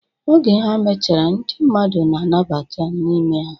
Oge ha mechara, ndị mmadụ na-abata n'ime ya.